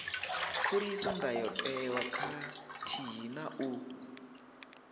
khuliso ndayotewa khathihi na u